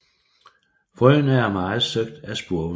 Frøene er meget søgt af spurve